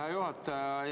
Hea juhataja!